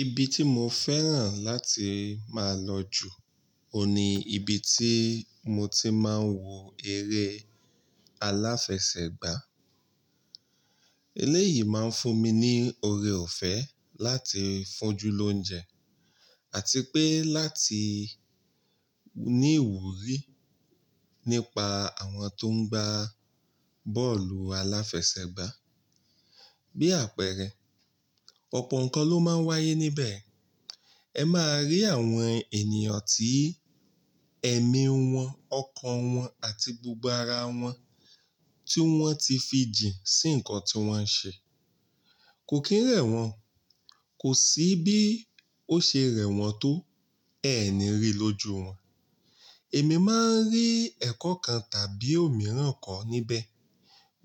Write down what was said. Ibi tí mo fẹ́ràn láti máa lọ jù ó ní ibi tí mo ti máa ń wo eré aláfẹsẹ̀gbá. Eléyìí máa ń fún mi ní oore ọ̀fẹ́ láti fójú lóúnjẹ àti pé láti ní ìwúrí nípa àwọn tó ń gbá bọ́ọ̀lù aláfẹsẹ̀gbá. Bí àpẹẹrẹ, ọ̀pọ̀ nǹkan ló máa ń wáyé níbẹ̀. Ẹ máa rí àwọn ènìyàn tí ẹ̀mí wọn, ọkàn wọn àti gbogbo ara wọn tí wọ́n ti fi jìn sí nǹkan tí wọ́n ń ṣe. Kò kí ń rẹ̀ wọ́n, kò sí bí ó ṣe rẹ̀ wọ́n tó ẹeni rí lójú wọn. Èmi máa ń rí ẹ̀kọ́ kan tàbí òmíràn ko níbẹ̀